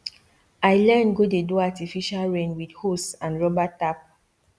i learn go dey do artificial rain with hose and rubber tap